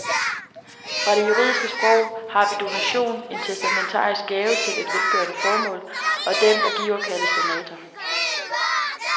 Fra det juridiske sprog har vi donation, en testamentarisk gave til et velgørende formål, og den, der giver, kaldes donator.